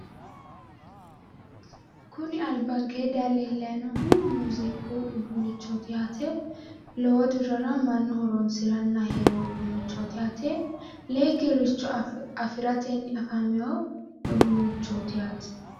Kuni albankee daye leellayi noohu muziiqu udduunnichooti yaate lowo dirrara mannu horonsirana heereyo uduunnichooti yaate lee kirricho afiratenni afameyo uduunnichooti yaate.